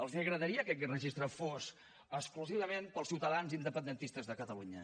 els agradaria que aquest registre fos exclusivament per als ciutadans independentistes de catalunya